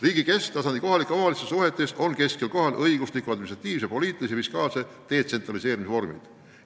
Riigi kesktasandi ja kohaliku omavalitsuse suhetes on kesksel kohal õigusliku, administratiivse, poliitilise ja fiskaalse detsentraliseerimise vormid.